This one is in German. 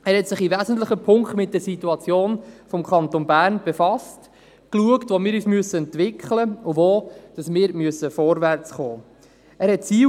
Er hat sich in wesentlichen Punkten mit der Situation des Kantons Bern befasst und geschaut, wo wir uns entwickeln und wo wir vorwärtskommen müssen.